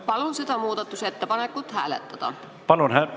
Palun seda muudatusettepanekut hääletada!